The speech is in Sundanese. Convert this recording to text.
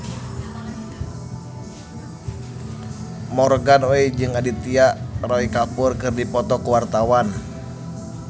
Morgan Oey jeung Aditya Roy Kapoor keur dipoto ku wartawan